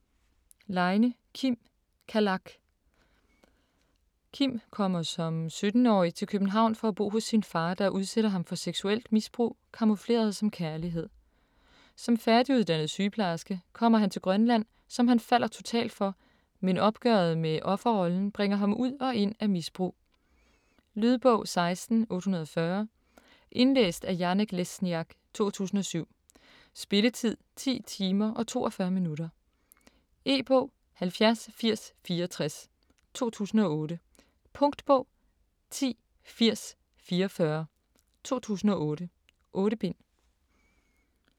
Leine, Kim: Kalak Kim kommer som 17-årig til København for at bo hos sin far, der udsætter ham for seksuelt misbrug camoufleret som kærlighed. Som færdiguddannet sygeplejerske kommer han til Grønland, som han falder totalt for, men opgøret med offerrollen bringer ham ud og ind af misbrug. Lydbog 16840 Indlæst af Janek Lesniak, 2007. Spilletid: 10 timer, 42 minutter. E-bog 708064 2008. Punktbog 108044 2008. 8 bind.